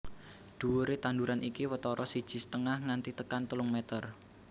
Dhuwuré tanduran iki watara siji setengah nganti tekan telung meter